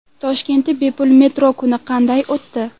Toshkentda bepul metro kuni qanday o‘tdi?